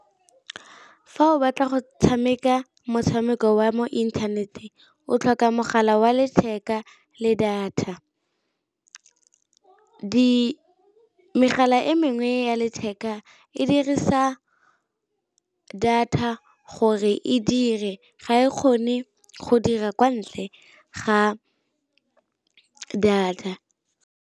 Fa o batla go tshameka motshameko wa mo inthaneteng o tlhoka mogala wa letheka le data, megala e mengwe nngwe ya letheka e dirisa data gore e dire ga e kgone go dira kwa ntle ga data.